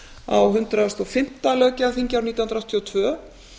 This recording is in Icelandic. á hundrað og fimmta löggjafarþingi árið nítján hundruð áttatíu og tvö